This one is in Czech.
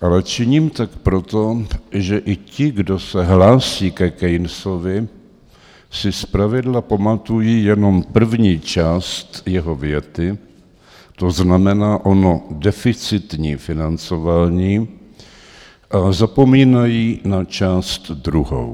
ale činím tak proto, že i ti, kdo se hlásí ke Keynesovi, si zpravidla pamatují jenom první část jeho věty, to znamená ono deficitní financování, a zapomínají na část druhou.